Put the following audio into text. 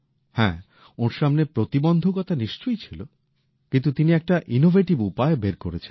হ্যাঁ ওঁর সামনে প্রতিবন্ধকতা নিশ্চয়ই ছিলো কিন্তু তিনি একটা উদ্ভাবনী উপায় বের করেছেন